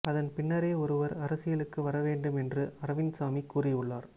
அதன் பின்னரே ஒருவர் அரசியலுக்கு வரவேண்டும் என்று அரவிந்த் சாமி கூறியுள்ளார்